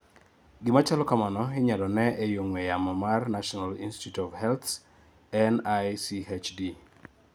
Gima chalo kamano inyalo nee ei ong'we yamo mar National Institute of Healths NICHD